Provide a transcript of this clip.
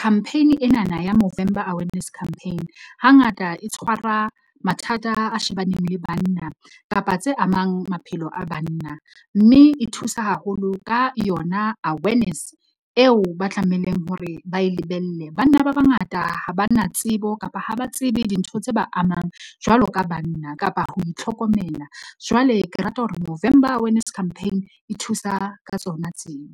Campaign enana ya Movember Awareness Campaign hangata e tshwara mathata a shebaneng le banna kapa tse amang maphelo a banna. Mme e thusa haholo ka yona awareness eo ba tlameileng hore ba e lebelle. Banna ba bangata ha ba na tsebo kapa ha ba tsebe dintho tse ba amang jwalo ka banna kapa ho itlhokomela. Jwale ke rata hore Movember Awareness Campaign e thusa ka tsona tseo.